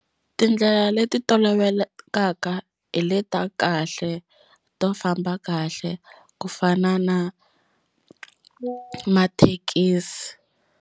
Tindlela leti tolovelekaka hi le ta kahle to famba kahle ku fana na mathekisi.